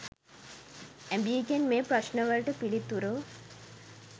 ඇබීගෙන් මේ ප්‍රශ්න වලට පිළිතුරු